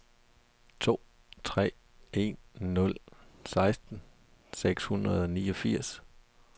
to tre en nul seksten seks hundrede og niogfirs